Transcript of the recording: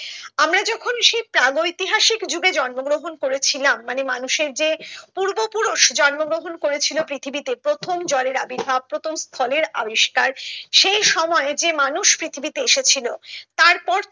আমরা যখন সেই প্রাক ঐতিহাসিক যুগে জন্ম গ্রহণ করেছিলাম মানে মানুষের যে পূর্ব পুরুষ জন্ম গ্রহণ করেছিল পৃথিবীতে প্রথম জ্বরের আবির্ভাব প্রথম ফলের আবিষ্কার সেই সময়ে যে মানুষ পৃথিবী তে এসেছিলো তার পর